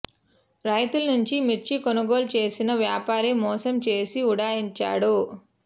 రైతుల నుంచి మిర్చి కొనుగోలు చేసిన వ్యాపారి మోసం చేసి ఉడాయించాడు